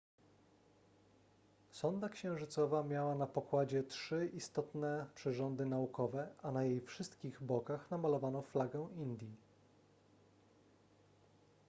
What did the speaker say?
sonda księżycowa miała na pokładzie trzy istotne przyrządy naukowe a na jej wszystkich bokach namalowano flagę indii